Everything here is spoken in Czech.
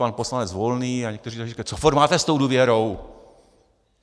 Pan poslanec Volný a někteří další říkají: Co furt máte s tou důvěrou?